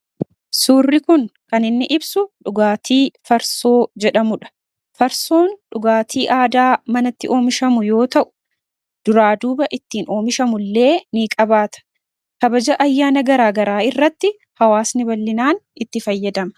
Suurri kun kan inni ibsu dhugaatii farsoo jedhamudha. Farsoon dhugaatii aadaa manatti oomishamu yoo ta'u, duraa duuba ittiin oomishamu illee niqabaata. Kabaja ayyaana garaa garaa irratti hawaasni bal'inaan itti fayyadama.